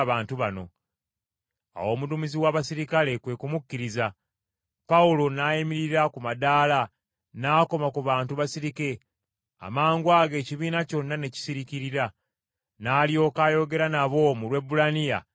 Awo omuduumizi w’abaserikale kwe kumukkiriza, Pawulo n’ayimirira ku madaala n’akoma ku bantu basirike, amangwago ekibiina kyonna ne kisiriikirira, n’alyoka ayogera nabo mu Lwebbulaniya ng’abagamba nti: